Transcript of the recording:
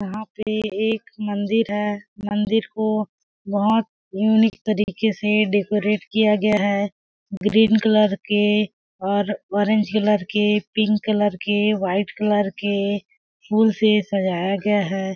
यहाँ पे एक मंदिर है मंदिर को बहुत यूनिक तरीके से डेकोरेट किया गया है ग्रीन कलर के और ऑरेंज कलर के पिंक कलर के वाइट कलर के फूल से सज़ाया गया है।